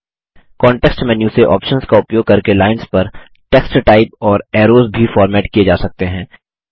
context menu से options का उपयोग करके लाइन्स पर टेक्स्ट टाइप और ऐरोज़ भी फॉर्मेट किये जा सकते हैं